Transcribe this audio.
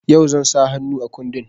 Yau zan sa hannu a kundin.